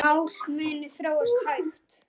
Mál munu þróast hægt.